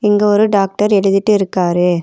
இங்க ஒரு டாக்டர் எழுதிட்டு இருக்காரு.